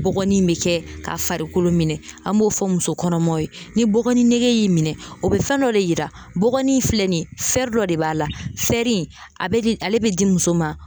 Bɔgɔni bɛ kɛ ka farikolo minɛ an b'o fɔ muso kɔnɔmaw ye ni bɔgɔ nege y'i minɛ o bɛ fɛn dɔ de yira, bɔgɔni filɛ nin ye dɔ de b'a la a bɛ ale bɛ di muso ma